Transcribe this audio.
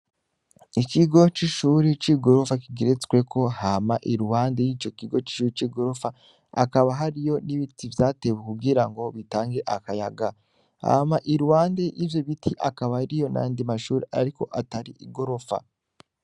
Ikigo c'ishuri c'i gorofa kigeretsweko hama iruwande y'ico kigo c'ishuri c'i gorofa akaba hari yo n'ibiti vyatewe kugira ngo bitange akayaga hama uruhande ivyo biti akaba ari yo na ndi mashuri, ariko atari igorofa.